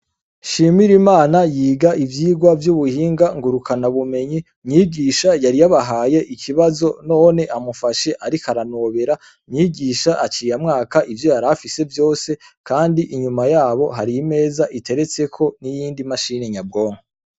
Shimira imana yiga ivyirwa vy'ubuhinga ngurukana bumenyi, mwigisha yari yabahaye ikibazo, none amufashe ariko aranobera. Mwigisha aciye amwaka ivyo yari afise vyose, kandi inyuma yabo hari imeza iteretseko n'iyindi mashini nyabwonko.